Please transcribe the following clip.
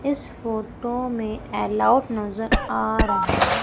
इस फोटो में अलाउड नजर आ रहा है।